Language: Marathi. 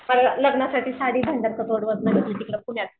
लग्नासाठी साडी भांडार तिकडं पुण्याला